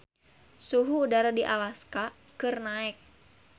Suhu udara di Alaska keur naek